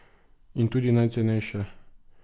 In tudi najcenejša.